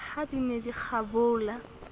ha di ne di kgabola